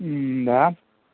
мм да